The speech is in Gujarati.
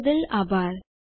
જોડવા બદલ આભાર